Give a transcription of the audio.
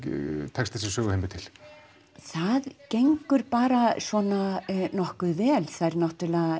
tekst þessum söguheimi til það gengur bara svona nokkuð vel það er náttúrulega